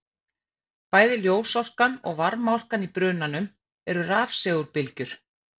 Bæði ljósorkan og varmaorkan í brunanum eru rafsegulbylgjur.